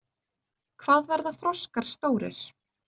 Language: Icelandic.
Hvað verða froskar stórir?